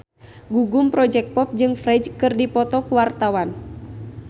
Gugum Project Pop jeung Ferdge keur dipoto ku wartawan